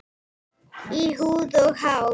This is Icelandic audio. Í húð og hár.